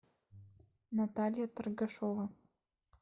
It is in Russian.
наталья торгашова